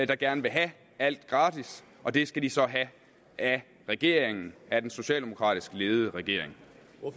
der gerne vil have alt gratis og det skal de så have af regeringen af den socialdemokratisk ledede regering